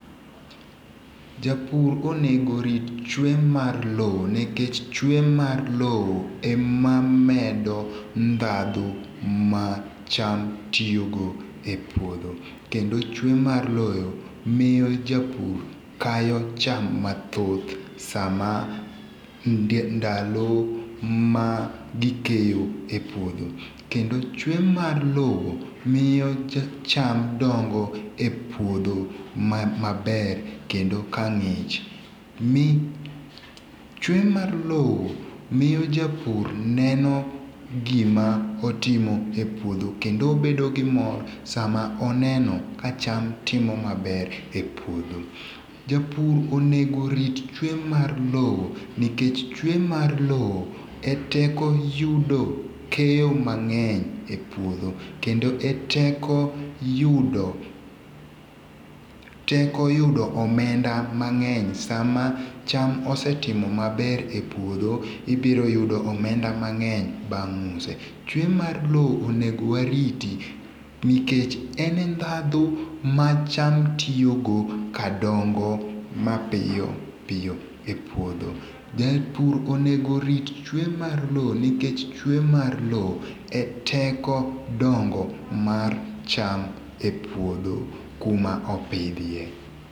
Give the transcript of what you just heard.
Japur onego rit chwe mar lowo nikech chwe mar lowo emamedo ndhadho ma cham tiyogo e puodho kendo chwe mar lowo miyo japur kayo cham mathoth sama ndalo ma gikeyo e puodho kendo chwe mar loo miyo cham dongo e puodho maber kendo ka ngi'ch mi chwe mar lowo miyo japur neno gima otimo e puodho miyo japur bedo gi mor sama oneno ka cham timo maber e puodho japur onego rit chwe mar lowo nikech nikech chwe mar lowo e teko yudo keyo mang'eny e puoth kendo e teko yudo omenda mang'eny sama cham osetimo maber e puotho ibiro yudo omenda mang'eny bang' use, chwe mar lowo onego wariti nikech ene ndhadho ma cham tiyogo ka dongo mapiyo piyo e puotho, japur onego rit chwe mar lowo nikech chwe mar lowo e teko dongo mar cham e puodho kuma opidhie.